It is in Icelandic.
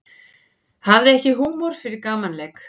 Hafði ekki húmor fyrir gamanleik